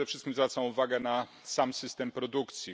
Przede wszystkim zwracam uwagę na sam system produkcji.